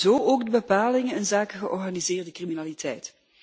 Zo ook de bepalingen inzake georganiseerde criminaliteit.